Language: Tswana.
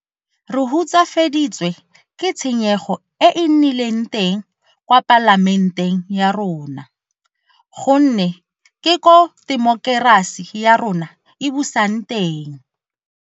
Re hutsafaditswe ke tshenyego e e nnileng teng kwa Palamenteng ya rona gonne ke koo temokerasi ya rona e busang teng.